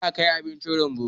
za a Kai abinci rumbu